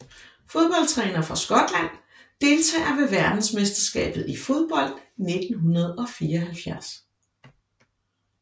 Fodboldtrænere fra Skotland Deltagere ved verdensmesterskabet i fodbold 1974